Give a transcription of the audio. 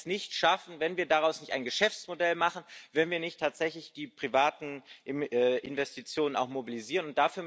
Wir werden es nicht schaffen, wenn wir daraus nicht ein Geschäftsmodell machen, wenn wir nicht tatsächlich auch die privaten Investitionen mobilisieren.